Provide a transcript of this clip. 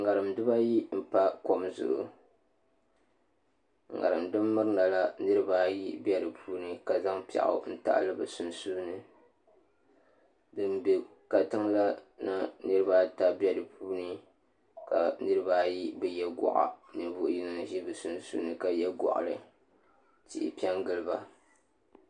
ŋarim dibaayi n pa kom zuɣu ŋarim din mirina la niraba ayi bɛ di puuni ka zaŋ piɛɣu n tahali bi sunsuuni din bɛ katiŋ la na niraba ata bɛ di puuni ka niraba ayi bi yɛ goɣa ninvuɣu yinga n ʒi bi sunsuuni ka yɛ goɣali tihi piɛ n giliba